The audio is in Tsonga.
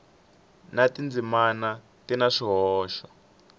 na tindzimana swi na swihoxo